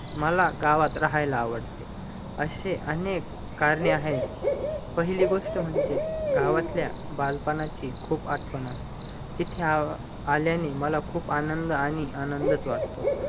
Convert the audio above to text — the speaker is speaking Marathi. मला गावात राहायला आवडते असे अनेक करणे आहेत पाहीली गोष्ट म्हणजे गावातल्या बालपणाची खूप येते तिथे आल्याणी मला खूप आनंद आणि आनंदच वाटतो